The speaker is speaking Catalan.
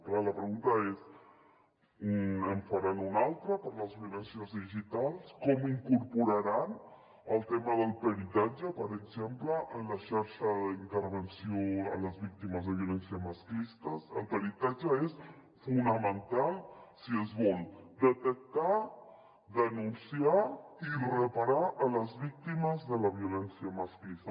clar la pregunta és en faran un altre per a les violències digitals com incorporaran el tema del peritatge per exemple en la xarxa d’intervenció a les víctimes de violència masclista el peritatge és fonamental si es vol detectar denunciar i reparar les víctimes de la violència masclista